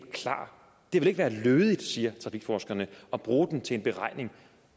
er klar det ville ikke være lødigt siger trafikforskerne at bruge den til en beregning